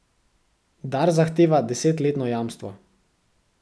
Dars zahteva desetletno jamstvo.